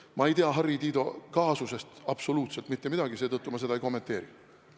Ma ei tea Harri Tiido kaasusest absoluutselt mitte midagi, seetõttu ma seda ei kommenteeri.